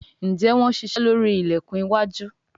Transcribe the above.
Njé Wón ṣiṣe lórí ilẹkùn iwájú?